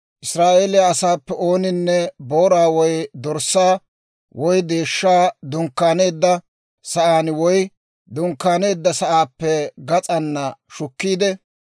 Israa'eeliyaa asaappe ooninne booraa woy dorssaa woy deeshshaa dunkkaaneedda sa'aan woy dunkkaaneedda sa'aappe gas'aana shukkiide,